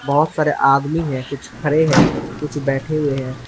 बहोत सारे आदमी है कुछ खड़े हैं कुछ बैठे हुए हैं।